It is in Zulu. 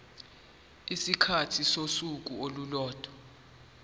isikhathi sosuku olulodwa